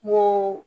N ko